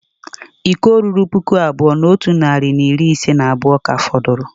Iko ruru puku abụọ na otu narị na iri ise na abụọ ka fọdụrụ